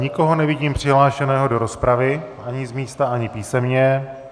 Nikoho nevidím přihlášeného do rozpravy, ani z místa, ani písemně.